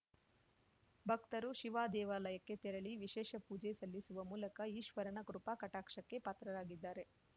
ಭಕ್ತರು ಶಿವದೇವಾಲಯಕ್ಕೆ ತೆರಳಿ ವಿಶೇಷ ಪೂಜೆ ಸಲ್ಲಿಸುವ ಮೂಲಕ ಈಶ್ವರನ ಕೃಪಾಕಟಾಕ್ಷಕ್ಕೆ ಪಾತ್ರರಾಗಿದ್ದಾರೆ